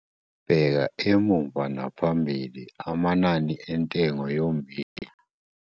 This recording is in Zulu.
Bheka emuva naphambili amanani entengo yommbila